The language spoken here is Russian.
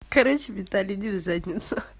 короче виталий иди в задницу